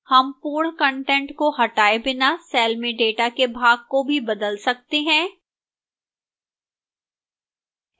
हम पूर्ण कंटेंट को हटाए बिना cell में data के भाग को भी बदल सकते हैं